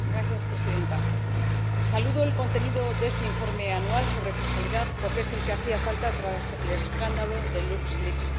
Señora Presidenta, saludo el contenido de este informe anual sobre fiscalidad porque es el que hacía falta tras el escándalo de LuxLeaks.